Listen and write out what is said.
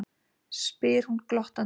spyr hún glottandi.